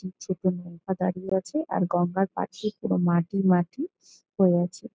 একটি নৌকা দাঁড়িয়ে আছে আর গঙ্গার পাশে পুরো মাটি মাটি হয়ে আছে।